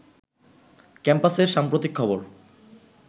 ক্যাম্পাসের সাম্প্রতিক খবর